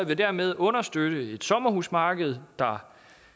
vil dermed understøtte et sommerhusmarked der